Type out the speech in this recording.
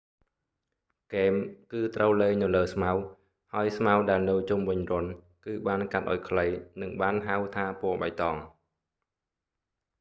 ហ្គេម គឺត្រូវលេងនៅលើស្មៅ ហើយស្មៅដែលនៅជុំវិញរន្ធ គឺបានកាត់ឱ្យខ្លីនឹងបានហៅថាពណ៍បៃតង